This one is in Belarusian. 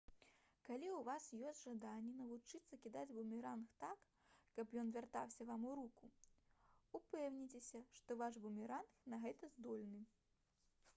калі ў вас ёсць жаданне навучыцца кідаць бумеранг так каб ён вяртаўся вам у руку упэўніцеся што ваш бумеранг на гэта здольны